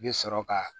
I bɛ sɔrɔ ka